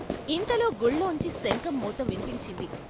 ఇంతలో గుళ్ళోంచి శంఖం మోత విన్పించింది.